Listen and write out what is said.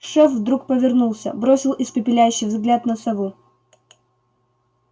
шеф вдруг повернулся бросил испепеляющий взгляд на сову